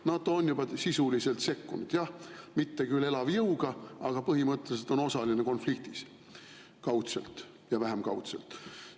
NATO on juba sisuliselt sekkunud, jah, mitte küll elavjõuga, aga põhimõtteliselt on osaline konfliktis – kaudselt ja vähem kaudselt.